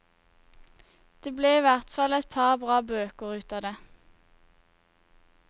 Det ble i hvert fall et par bra bøker ut av det.